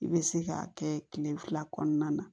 I bɛ se k'a kɛ kile fila kɔnɔna na